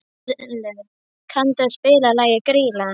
Herluf, kanntu að spila lagið „Grýla“?